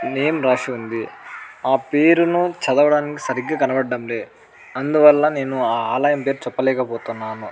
Name రాసిఉంది ఆ పేరును చదవడానికి సరిగ్గా కనపడడంలే అందువలన నేను ఆ ఆలయం పేరు చెప్పలేక పోతున్నాను.